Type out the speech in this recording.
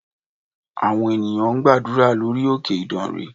Àwọn ènìyàn ń gbàdúrà lórí òkè ìdànrè